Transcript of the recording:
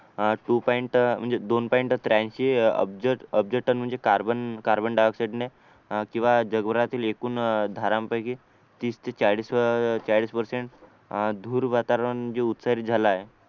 अह two point म्हणजे दोन पॉईंट त्र्याऐंशी अब्ज टन म्हणजे कार्बन डाय-ऑक्साइड ने किंवा जगभरातील एकूण धारण पैकी तीस ते चाळीस पर्सेंट धूर वातावरण जे उत्सर्जित झाला आहे